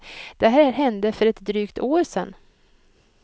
Det här hände för ett drygt år sedan.